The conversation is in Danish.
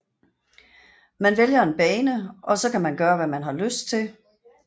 Man vælger en bane og så kan man gøre hvad man har lyst til